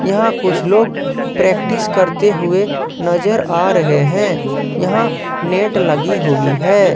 यहां कुछ लोग प्रैक्टिस करते हुए नजर आ रहे हैं यहां नेट लगी हुई है।